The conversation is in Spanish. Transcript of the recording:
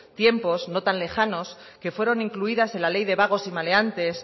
tiempos no tan lejanos que fueron incluidas en la ley de vagos y maleantes